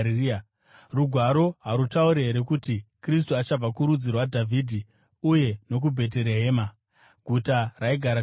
Rugwaro harutauri here kuti Kristu achabva kurudzi rwaDhavhidhi uye nokuBheterehema, guta raigara Dhavhidhi?”